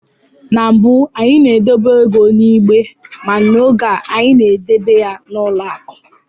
Na mbụ, anyị na-edobe ego n'igbe ma n'oge a anyị na-edebe ya n'ụlọ akụ